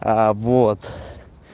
аа вот